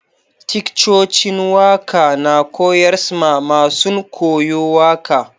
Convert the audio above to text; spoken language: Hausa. Ticcocin waka na koyars ma masun koyo waka.